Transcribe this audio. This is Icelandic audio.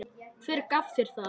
Hver gaf þér það?